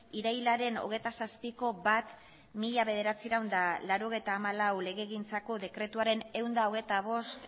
irailaren hogeita zazpiko bat barra mila bederatziehun eta laurogeita hamalau legegintzako dekretuaren ehun eta hogeita bost